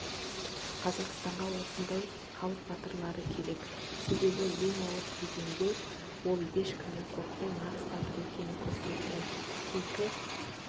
қазақстанға осындай халық батырлары керек себебі ең ауыр кезеңде олешкімнен қорықпай нағыз батыр екенін көрсетті кейкі